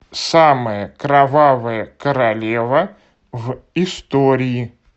самая кровавая королева в истории